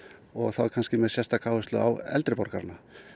og þá kannski með sérstaka áherslu á eldri borgarana